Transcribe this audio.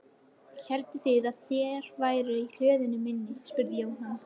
Hélduð þið að þeir væru í hlöðunni minni? spurði Jóhann.